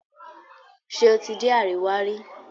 Ṣe o dé Àríwá rí?